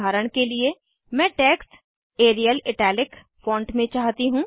उदाहरण के लिए मैं टेक्स्ट एरियल इटालिक फॉन्ट में चाहती हूँ